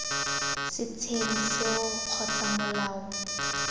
setsheng seo kgotsa b molao